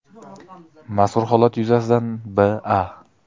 Mazkur holat yuzasidan B.A.